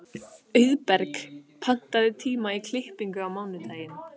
Auðberg, pantaðu tíma í klippingu á mánudaginn.